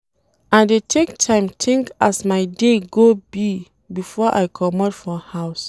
I dey take time tink as my day go be before I comot for house.